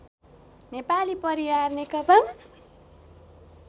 Nepali Pariyar Nekapa